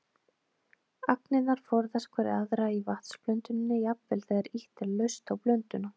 Agnirnar forðast hverja aðra í vatnsblöndunni, jafnvel þegar ýtt er laust á blönduna.